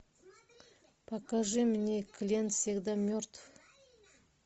покажи мне клиент всегда мертв